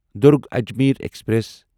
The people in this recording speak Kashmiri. دٚرگ اجمیر ایکسپریس